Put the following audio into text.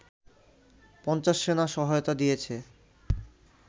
৫০ সেনা সহায়তা দিয়েছে